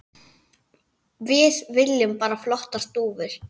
Við viljum bara flottar dúfur.